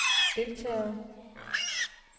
deltagerne